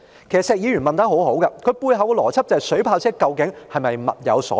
其實，石議員的問題相當好，他背後的邏輯就是水炮車究竟是否物有所值。